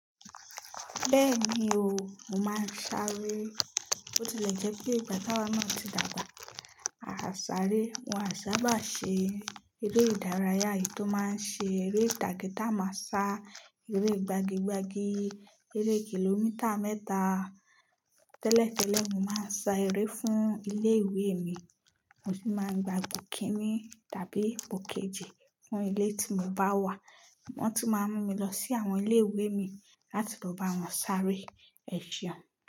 Bẹ́ẹ̀ni o, mo máa ń sáré. Bo ti lẹ̀ jẹ́ pé ìgbà táwa náà ti dàgbà, a sáré. Wọ́n á sábà ṣe eré ìdárayá yìí tó máa ń ṣe eré ìtàgé tá a máa sá, eré gbagi gbagi, eré kìlómítà mẹ́ta. Tẹ́lẹ̀ tẹ́lẹ̀ mo máa ń sá eré fún ilé ìwé mi, mo sì máa ń gba ipo kinni tàbí ipo kejì fún ilé tí mo bá wà. Wọ́n tun máa ń mú mi lọ sí àwọn ilé ìwé mii láti lo bá wọn sáré ẹ seun.